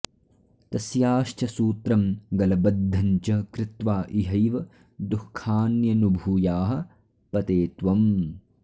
तस्याश्च सूत्रं गलबद्धं च कृत्वा इहैव दुःखान्यनुभूयाः पते त्वम्